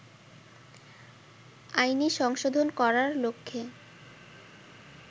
আইনি সংশোধন করার লক্ষ্যে